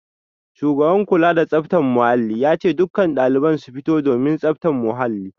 Shugaban kula da tsaftar muhalli ya ce dukkan daliban su fito domin tsaftar muhalli